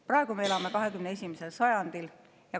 Praegu me elame 21. sajandil.